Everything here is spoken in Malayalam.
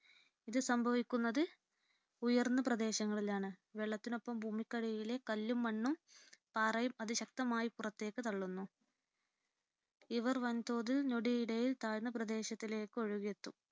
ഇത് സംഭവിക്കുന്നത് ഉയർന്ന പ്രദേശങ്ങളിലാണ്വെ. ള്ളത്തിനൊപ്പം ഭൂമിക്കടിയിലെ കല്ലും മണ്ണും പാറയും അതി ശക്തമായി പുറത്തേക്ക് തള്ളുന്നു. ഇവർ വൻതോതിൽ ഞൊടിയിടയിൽ താഴ്ന്ന പ്രദേശങ്ങളിലേക്ക് ഒഴുകിയെത്തും